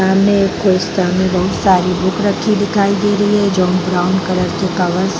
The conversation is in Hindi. सामने एक बहुत सारी बुक रखी दिखाई दे रही है जो ब्राउन कलर के कागज --